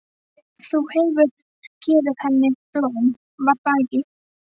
Þú hefur gefið henni blóm, var það ekki?